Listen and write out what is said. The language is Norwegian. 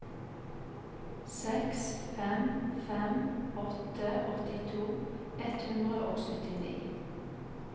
seks fem fem åtte åttito ett hundre og syttini